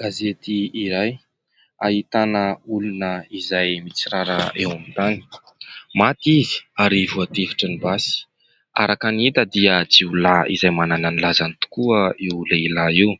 Gazety iray ahitana olona izay mitsirara eo amin'ny tany. Maty izy ary voatifitry ny basy. Araka ny hita dia jiolahy izay manana ny lazany tokoa io lehilahy io.